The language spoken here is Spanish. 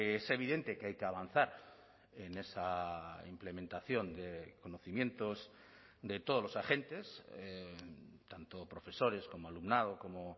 es evidente que hay que avanzar en esa implementación de conocimientos de todos los agentes tanto profesores como alumnado como